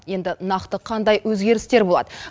енді нақты қандай өзгерістер болады